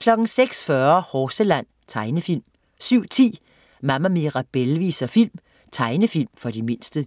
06.40 Horseland. Tegnefilm 07.10 Mama Mirabelle viser film. Tegnefilm for de mindste